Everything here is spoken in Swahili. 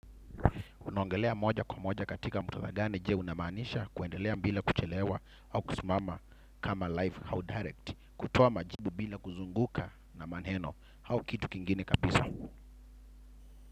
Unaongelea moja kwa moja katika muktadha gani je unamaanisha kuendelea bila kuchelewa au kusimama kama live au direct kutoa majibu bila kuzunguka na maneno au kitu kingine kabisa.